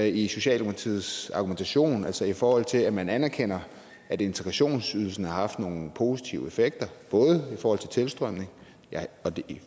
i socialdemokratiets argumentation altså i forhold til at man anerkender at integrationsydelsen har haft nogle positive effekter både i forhold til tilstrømningen ja og vi